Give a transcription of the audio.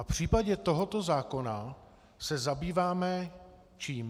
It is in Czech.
A v případě tohoto zákona se zabýváme čím?